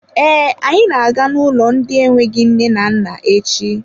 Ee, anyị na-aga n'ụlọ ndị enweghị nne na nna echi.